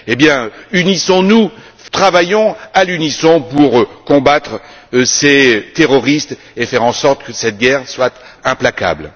Eh bien, unissons nous, travaillons à l'unisson pour combattre ces terroristes et faire en sorte que cette guerre soit implacable.